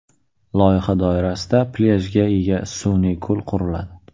Loyiha doirasida plyajga ega sun’iy ko‘l quriladi.